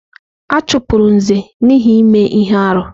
A chụpụrụ Nze n'ihi ime ihe arụ.